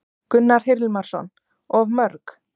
Gunnar Hilmarsson: Of mörg?